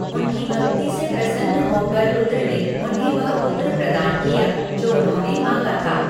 उनकी भक्ति से प्रसन्न होकर रुद्र ने उन्हें वह पुत्र प्रदान किया जो उन्होंने माँगा था।